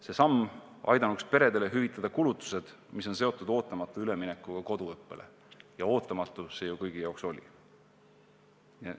See samm aidanuks peredel hüvitada kulutused, mis on seotud ootamatu üleminekuga koduõppele – ja ootamatu see ju kõigi jaoks oli.